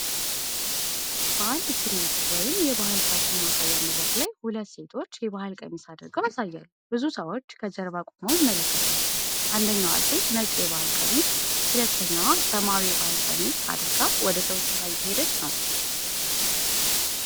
በአንድ ትርዒት ወይም የባህል ፋሽን ማሳያ መድረክ ላይ ሁለት ሴቶች የባህል ቀሚስ አድርገው ያሳያሉ። ብዙ ሰዎች ከጀርባ ቁመው ይመለከቷቸዋል። አንደኛዋ ሴት ነጭ የባህል ቀሚስ፤ ሁለተኛዋ ሰማያዊ የባህል ቀሚስ አድርጋ ወደ ሰዎች ዙራ እየሄደች ነው።